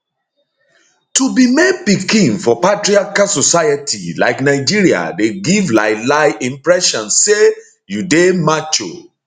to be male pikin for patriarchal society like nigeria dey give lielie impression say you dey macho